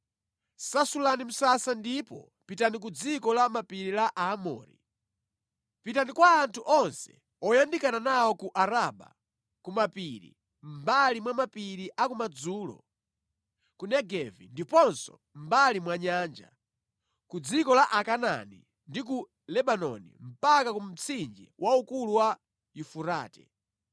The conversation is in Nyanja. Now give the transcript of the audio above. Sasulani msasa ndipo pitani ku dziko la mapiri la Aamori. Pitani kwa anthu onse oyandikana nawo ku Araba, ku mapiri, mʼmbali mwa mapiri a ku madzulo, ku Negevi ndiponso mʼmbali mwa nyanja, ku dziko la Akanaani ndi ku Lebanoni mpaka ku mtsinje waukulu wa Yufurate.